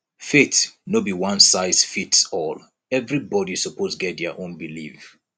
faith no be onesizefitsall everybody suppose get dia own belief